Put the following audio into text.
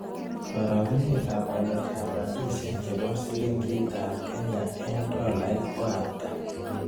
Karogenetap waletap rabisyek che po silingiitap kenya eng' tolait ko ata